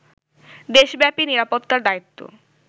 দেশব্যাপী নিরাপত্তার দায়িত্ব